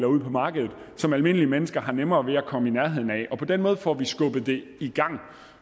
ud på markedet som almindelige mennesker har nemmere ved at komme i nærheden af og på den måde får vi skubbet det i gang